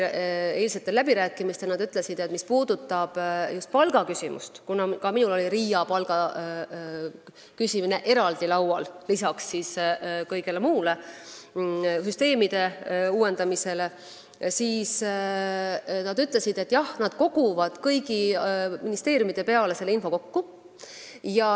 Ka eilsetel läbirääkimistel öeldi selle kohta, mis puudutab just palgaküsimust – kuna mina tõin RIA inimeste töötasu eraldi arutelu alla, peale süsteemide uuendamise jms –, et nad koguvad kõigi ministeeriumide peale selle info kokku.